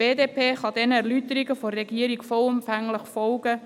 Die BDP kann den Erläuterungen der Regierung vollumfänglich folgen.